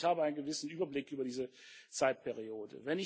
Ich glaube schon, ich habe einen gewissen Überblick über diese Periode.